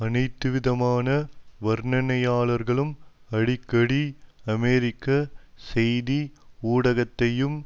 அனைத்துவிதமான வர்ணனையாளர்களும் அடிக்கடி அமெரிக்க செய்தி ஊடகத்தையும்